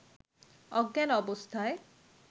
অজ্ঞান অবস্থায়